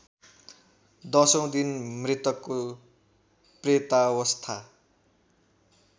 दशौँ दिन मृतकको प्रेतावस्था